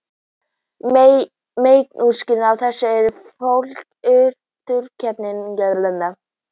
Meginskýringin á þessu er fólgin í þróunarkenningunni.